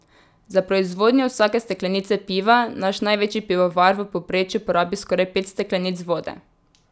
Za proizvodnjo vsake steklenice piva naš največji pivovar v povprečju porabi skoraj pet steklenic vode.